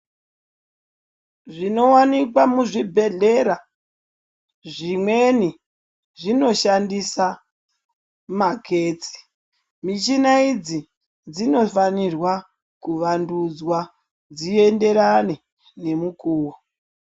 Zvinowanikwa muzvibhedhlera ,zvimweni zvinoshandisa magetsi. Michina idzi dzinofanirwa kuvandudzwa dzienderane nemukuwo.